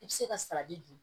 I bɛ se ka dun